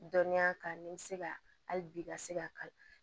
Dɔnniya kan ni bɛ se ka hali bi i ka se ka